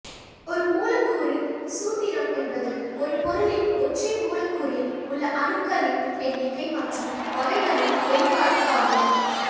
ஒரு மூலக்கூறு சூத்திரம் என்பது ஒரு பொருளின் ஒற்றை மூலக்கூறில் உள்ள அணுக்களின் எண்ணிக்கை மற்றும் வகைகளின் வெளிப்பாடு ஆகும்